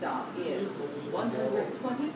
vier maniere waarop